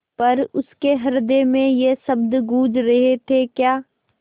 पर उसके हृदय में ये शब्द गूँज रहे थेक्या